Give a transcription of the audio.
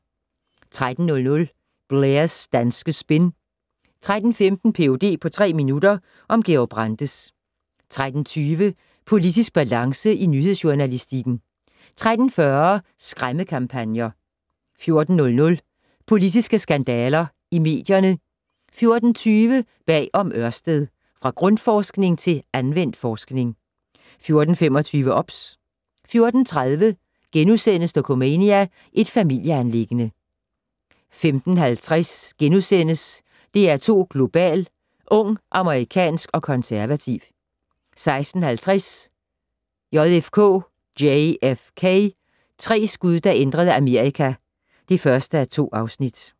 13:00: Blairs danske spin 13:15: Ph.d. på tre minutter - om Georg Brandes 13:20: Politisk balance i nyhedsjournalistikken 13:40: Skræmmekampagner 14:00: Politiske skandaler i medierne 14:20: Bag om Ørsted - Fra Grundforskning til anvendt forskning 14:25: OBS 14:30: Dokumania: Et familieanliggende * 15:50: DR2 Global: Ung, amerikansk og konservativ * 16:50: JFK - tre skud der ændrede Amerika (1:2)